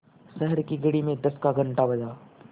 शहर की घड़ी में दस का घण्टा बजा